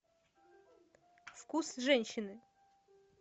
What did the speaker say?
вкус женщины